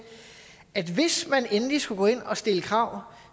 at hvis man endelig skulle gå ind og stille krav